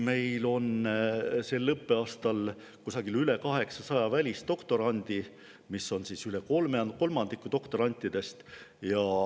Meil on sel õppeaastal üle 800 välisdoktorandi, see on üle kolmandiku doktorantidest.